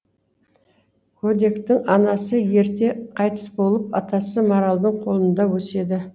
көдектің анасы ерте қайтыс болып атасы маралдың қолында өседі